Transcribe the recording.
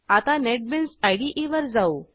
आता नेटबीन्स इदे वर जाऊ